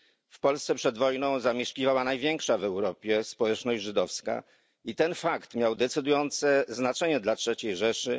W Polsce przed wojną zamieszkiwała największa w Europie społeczność żydowska i ten fakt miał decydujące znaczenie dla Trzeciej Rzeszy.